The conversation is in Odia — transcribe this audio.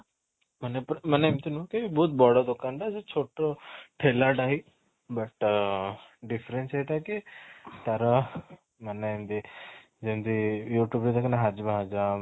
ମାନେ ପୁରା ମାନେ ଏମିତି ନୁହଁ କି ବହୁତ ବଡ ଦୋକାନ ଟା ଯେ ସେ ଛୋଟ ଠେଲା ଟା ହିଁ ଅଂ difference ଏଇଟା କି ତାର ମାନେ ଏମିତି ଯେମିତି youtube ରେ ଦେଖିନୁ